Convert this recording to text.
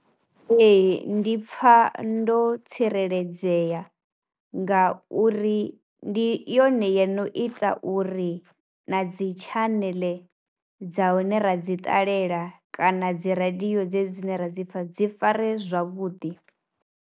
Ee ndi pfha ndo tsireledzea ngauri ndi yone yo no ita uri na dzi tshaneḽe dza hone ra dzi ṱalela kana dzi radio dzedzi dzine ra dzi pfha dzi fare zwavhuḓi.